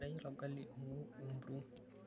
Ateyiara olgali ongou empuruo.